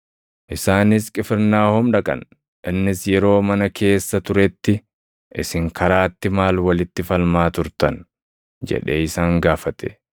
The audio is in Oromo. Isaanis Qifirnaahom dhaqan. Innis yeroo mana keessa turetti, “Isin karaatti maal walitti falmaa turtan?” jedhee isaan gaafate.